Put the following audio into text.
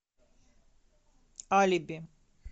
алиби